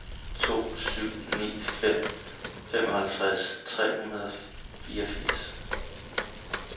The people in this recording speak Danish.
to syv ni fem femoghalvtreds tre hundrede og fireogfirs